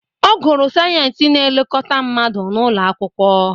Ọ gụrụ sayensị na-elekọta mmadụ na ụlọ akwụkwọ